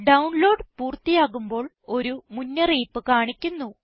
download പൂർത്തിയാകുമ്പോൾ ഒരു മുന്നറിയിപ്പ് കാണിക്കുന്നു